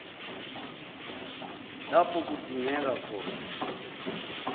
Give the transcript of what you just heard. lapho kudingeka khona